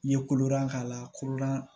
N ye kolodan k'a la korowari